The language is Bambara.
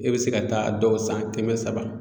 E bɛ se ka taa dɔw san kɛmɛ saba.